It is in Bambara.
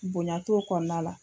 Bonya t'o kɔnɔna la